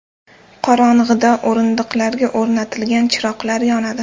Qorong‘ida o‘rindiqlarga o‘rnatilgan chiroqlar yonadi.